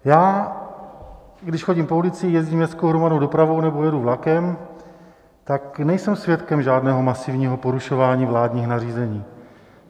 Já když chodím po ulici, jezdím městskou hromadnou dopravou nebo jedu vlakem, tak nejsem svědkem žádného masivního porušování vládních nařízení.